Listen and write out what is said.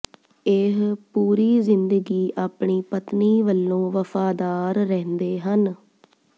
ਇਹ ਪੂਰੀ ਜਿੰਦਗੀ ਆਪਣੀ ਪਤਨੀ ਵਲੋਂ ਵਫਾਦਾਰ ਰਹਿੰਦੇ ਹਨ